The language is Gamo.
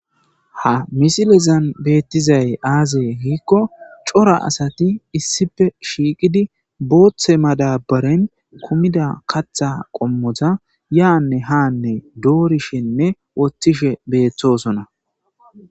Ha misilezan beettizay aazee hiikko cora asati issife shiiqidi booththe madabaren kumida katha qommoza yaanne haanne doorishenne woththishe beeththosona.